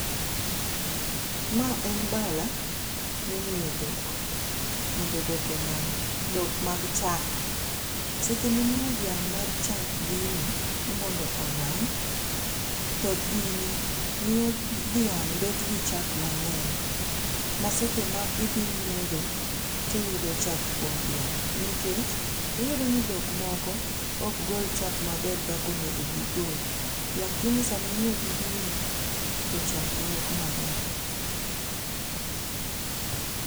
Ma en bala mimiyo dhok , mondo dhok onang' dhok mag chak. Seche mimiyo dhiang' mar chak gini, ni mondo onang' thoth gini miyo dhiang' bet gi chak mang'eny ma seche ma idhi nyiedho to iyudo chak kuom dhiang' nikech iyudo ni dhok moko ok gol chak maber kaka onego gigol lakini seche ma imiyogi gini to chak wuok maber.